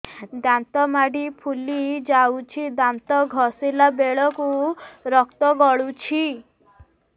ଦାନ୍ତ ମାଢ଼ୀ ଫୁଲି ଯାଉଛି ଦାନ୍ତ ଘଷିଲା ବେଳକୁ ରକ୍ତ ଗଳୁଛି